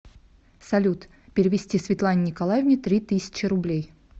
салют перевести светлане николаевне три тысячи рублей